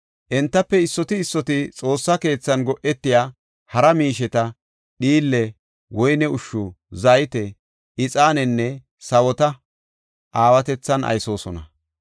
Entafe issoti issoti Xoossa keethan go7etiya hara miisheta, dhiille, woyne ushshu, zayte, ixaanenne sawota aawatethan aysoosona.